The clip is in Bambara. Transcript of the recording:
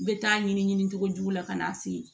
N bɛ taa ɲini ɲinicogo la ka n'a se